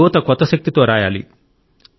యువత కొత్త శక్తితో రాయాలి